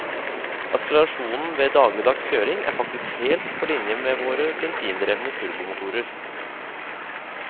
Akselerasjonen ved dagligdags kjøring er faktisk helt på linje med våre bensindrevne turbomotorer.